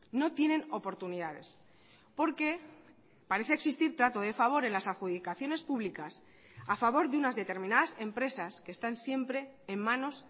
no tienen oportunidades porque parece existir trato de favor en las adjudicaciones públicas a favor de unas determinadas empresas que están siempre en manos